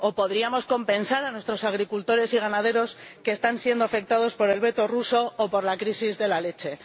O podríamos compensar a nuestros agricultores y ganaderos, que están siendo afectados por el veto ruso o por la crisis de la leche.